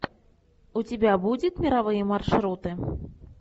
у тебя будет мировые маршруты